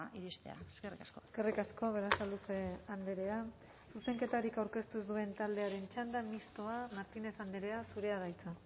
iristea eskerrik asko eskerrik asko berasaluze andrea zuzenketarik aurkeztu ez duen taldearen txanda mistoa martínez andrea zurea da hitza